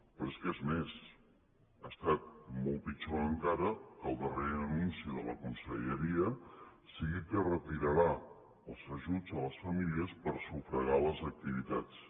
però és que és més ha estat molt pitjor encara que el darrer anunci de la conselleria sigui que retirarà els ajuts a les famílies per sufragar les activitats